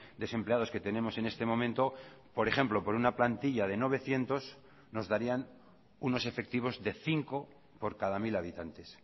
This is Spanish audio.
desempleados que tenemos en este momento por ejemplo por una plantilla de novecientos nos darían unos efectivos de cinco por cada mil habitantes